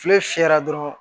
Kile fiyɛra dɔrɔn